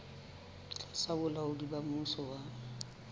tlasa bolaodi ba mmuso wa